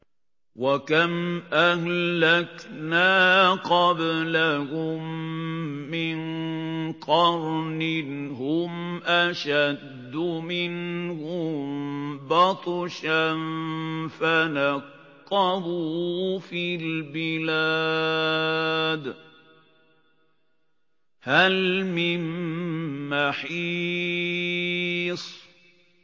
وَكَمْ أَهْلَكْنَا قَبْلَهُم مِّن قَرْنٍ هُمْ أَشَدُّ مِنْهُم بَطْشًا فَنَقَّبُوا فِي الْبِلَادِ هَلْ مِن مَّحِيصٍ